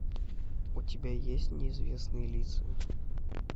у тебя есть неизвестные лица